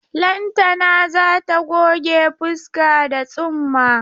Lantana za ta goge fuska da tsumma.